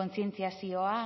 kontzientziazioa